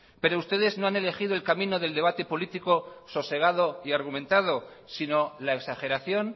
pero ustedes no han elegido el camino del debate político sosegado y argumentado sino la exageración